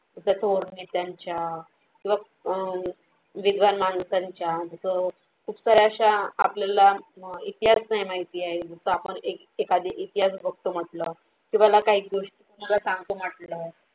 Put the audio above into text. जर तो आणि त्यांच्या विद्वान माणसांचा जर खूप सार्‍या अशा आपल्याला इतिहास नाही माहिती आहे जस आपण एक एखादी एक इतिहास बघतो म्हटलं तुम्हाला काही गोष्टी काही सांगतो म्हटलं.